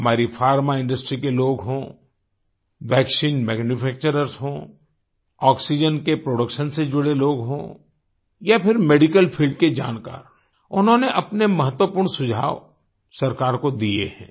हमारी pharma industry के लोग हों वैक्सीन मैन्यूफैक्चर्स हों आक्सीजेन के प्रोडक्शन से जुड़े लोग हों या फिर मेडिकल फील्ड के जानकार उन्होंने अपने महत्वपूर्ण सुझाव सरकार को दिए हैं